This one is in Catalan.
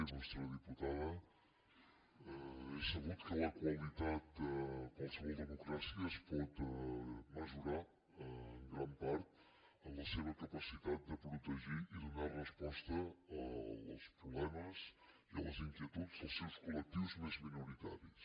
il·lustre diputada és sabut que la qualitat en qualsevol democràcia es pot mesurar en gran part en la seva capacitat de protegir i donar resposta als problemes i a les inquietuds dels seus col·lectius més minoritaris